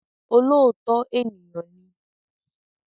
Olóòótọ́ ènìyàn ni